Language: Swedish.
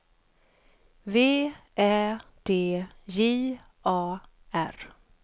V Ä D J A R